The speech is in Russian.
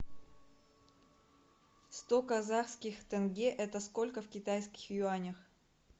сто казахских тенге это сколько в китайских юанях